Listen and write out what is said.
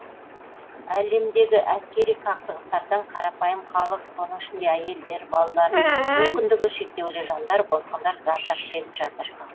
әлемдегі әскери қақтығыстардан қарапайым халық соның ішінде әйелдер балалар мүмкіндігі шектеулі жандар босқындар зардап шегіп жатыр